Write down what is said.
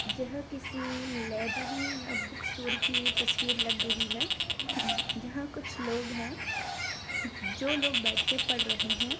यह किसी लाइब्रेरी या बुक स्टोर की तसवीर लग रही हैं यहां कुछ लोग है जो लोग बैठ क पढ़ रहे हैं।